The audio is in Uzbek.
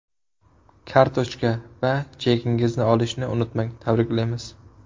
Kartochka va chekingizni olishni unutmang Tabriklaymiz!